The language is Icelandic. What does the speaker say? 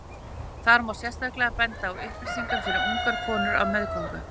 þar má sérstaklega benda á upplýsingar fyrir ungar konur á meðgöngu